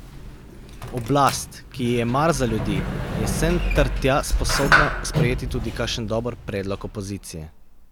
Oblast, ki ji je mar za ljudi, je sem ter tja sposobna sprejeti tudi kakšen dober predlog opozicije.